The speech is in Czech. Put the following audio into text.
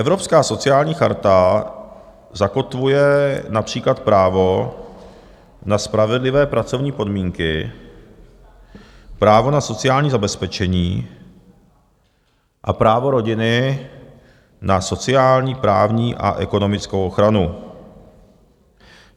Evropská sociální charta zakotvuje například právo na spravedlivé pracovní podmínky, právo na sociální zabezpečení a právo rodiny na sociální, právní a ekonomickou ochranu.